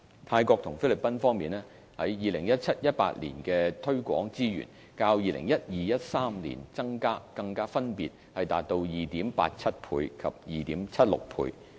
泰國及菲律賓方面 ，2017-2018 年度的推廣資源，較 2012-2013 年度增加更分別達 2.87 倍及 2.76 倍。